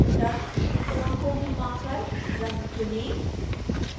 रंगत्रिकोण को घूमा कर रंग चुनें